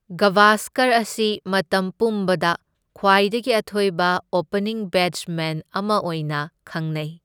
ꯒꯚꯥꯁꯀꯔ ꯑꯁꯤ ꯃꯇꯝ ꯄꯨꯝꯕꯗ ꯈ꯭ꯋꯥꯏꯗꯒꯤ ꯑꯊꯣꯏꯕ ꯑꯣꯄꯅꯤꯡ ꯕꯦꯠꯁꯃꯦꯟ ꯑꯃ ꯑꯣꯏꯅ ꯈꯪꯅꯩ꯫